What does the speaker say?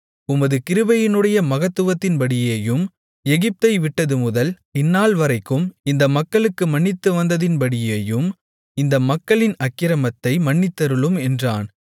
உமது கிருபையினுடைய மகத்துவத்தின்படியேயும் எகிப்தை விட்டதுமுதல் இந்நாள்வரைக்கும் இந்த மக்களுக்கு மன்னித்து வந்ததின்படியேயும் இந்த மக்களின் அக்கிரமத்தை மன்னித்தருளும் என்றான்